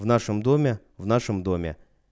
в нашем доме в нашем доме